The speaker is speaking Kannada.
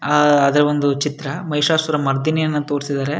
ಆಹ್ಹ್ ಆದ್ರೆ ಒಂದು ಚಿತ್ರ ಮೈಸಾಸುರ ಮರ್ದಿನಿಯನ್ನ ತೋರ್ಸಿದ್ದಾರೆ.